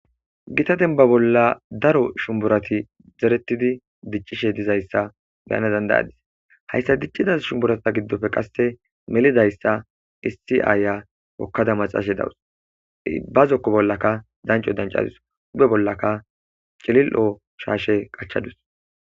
Gita denniba bolla daro shunninurati zeretida diccishshe dizayissa be'ana danida'adiss hayissa dicciza shuniburata giddoppe qase mellizayissa issi hokada maaxashshe dawus ,baa zooko bollakka danicco danicadus.bee bollakka shashshe qachchadus.